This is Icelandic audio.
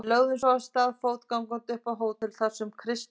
Við lögðum svo af stað fótgangandi upp á hótel þar sem Kristján